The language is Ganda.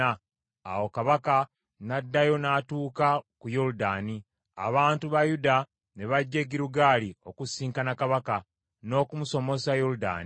Awo kabaka n’addayo n’atuuka ku Yoludaani. Abantu ba Yuda ne bajja e Girugaali okusisinkana kabaka, n’okumusomosa Yoludaani.